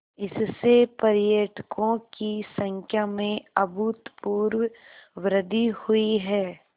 इससे पर्यटकों की संख्या में अभूतपूर्व वृद्धि हुई है